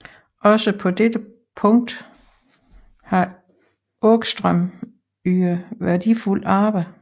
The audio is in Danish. Også på dette punkt har Ångström ydet værdifulde arbejder